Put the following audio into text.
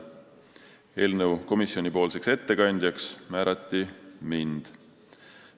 Eelnõu ettekandjaks komisjoni nimel määrati mind.